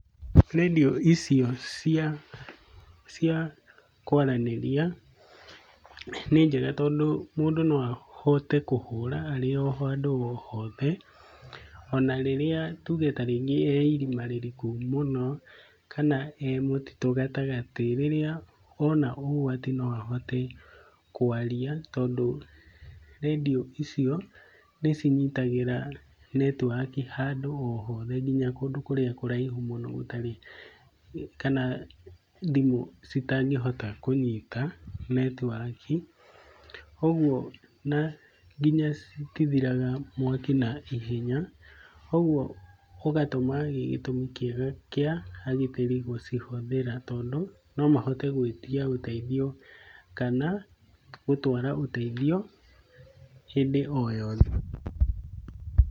Redio icio cia cia kwaranĩria nĩ njega tondũ mũndũ no ahote kũhũra arĩ o handũ o hothe ona rĩrĩa tuge ta rĩngĩ e irima rĩriku mũno, kana e mũtitũ gatagatĩ, rĩrĩa ona ũgwati no ahote kwaria tondũ redio icio nĩcinyitagĩra netwaki handũ o hothe kinya kũndũ kũrĩa kũraihu mũno gũtarĩ kana thimũ citangĩhota kũnyita netwaki, ũguo na nginya citithiraga mwaki naihenya, ũguo ũgatũma gĩtũmi kĩega kĩa agitĩri gũcihũthĩra tondũ nomahote gwĩtia ũteithio kana gũtwara ũteithio hĩndĩ o yothe.